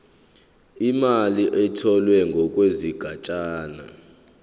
imali etholwe ngokwesigatshana